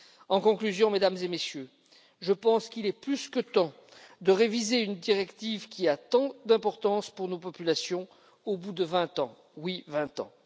En conclusion, Mesdames et Messieurs, je pense qu'il est plus que temps de réviser une directive qui a tant d'importance pour nos populations au bout de 20 ans oui 20 ans.